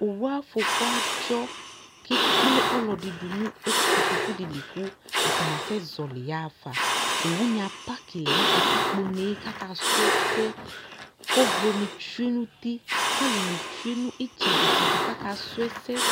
Owuafɔku adzɔ ! K'ekple ɔlɔdɩ dʋ nʋ e kotokudɩ li kʋ atanɩ asɛ zɔɔlɩ yaɣafa Owunɩ apakɩ lɛ nʋ katikponee k'akasʋ ɛsɛ; k'ɔvlɔni tsue n'uti ! K'alʋnɩ tsue n'ɩtsɛdɩ ɩtsɛdɩ k'akasʋ ɛsɛ